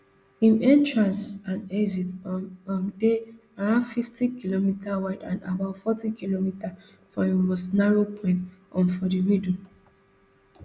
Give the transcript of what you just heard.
im entrance and exit um um dey around fiftykm wide and about fortykm for im most narrow point um for middle